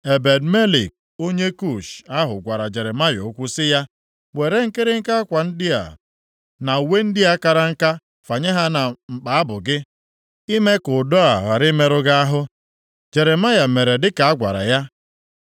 Ebed-Melek onye Kush ahụ gwara Jeremaya okwu sị ya, “Were nkịrịnka akwa ndị a, na uwe ndị a kara aka fanye ha na mkpa abụ gị, ime ka ụdọ a ghara imerụ gị ahụ.” Jeremaya mere dị ka a gwara ya.